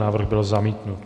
Návrh byl zamítnut.